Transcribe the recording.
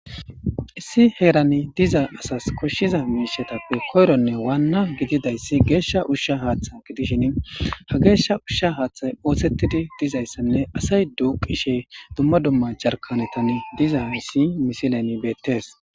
Issi heerani diza asasi koshiza miishatape koyrone waana gidizay geesha usha hatha gidishini hage geesha usha usha haathay oosetidi dizaysane asay duukishe duma duma jarkanetan dizaysi haysa misilen beetes.